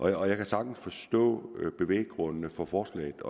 jeg kan sagtens forstå bevæggrundene for forslaget